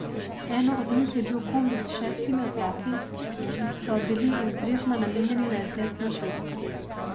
Eno od njih je bil kombi s šestimi otroki, ki so bili iz Dresdna namenjeni na izlet na Švedsko.